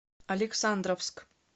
александровск